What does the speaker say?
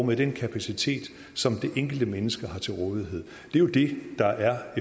med den kapacitet som det enkelte menneske har til rådighed det er jo det der er